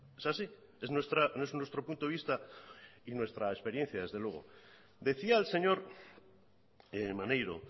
es así no es nuestro punto de vista ni nuestra experiencia desde luego decía el señor maneiro